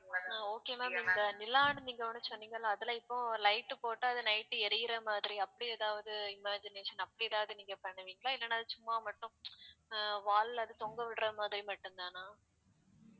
அ okay ma'am இந்த நிலான்னு நீங்க ஒண்ணு சொன்னீங்கல்ல அதுல இப்போ light போட்டா அது night எரியிற மாதிரி அப்படி ஏதாவது imagination அப்படி ஏதாவது நீங்க பண்ணுவீங்களா இல்லைன்னா சும்மா மட்டும் அஹ் wall ல அது தொங்கவிடுற மாதிரி மட்டும்தானா